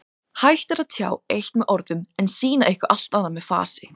Hægt er að tjá eitt með orðum en sýna eitthvað allt annað með fasi.